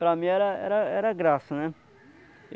Para mim era era era graça, né?